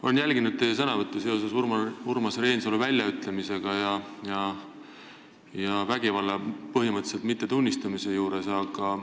Olen jälginud teie sõnavõtte seoses Urmas Reinsalu väljaütlemistega, põhimõtteliselt vägivalla mittetunnistamisega.